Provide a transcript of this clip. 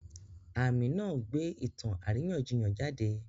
Àmì náà gbé ìtàn àríyànjiyàn jáde.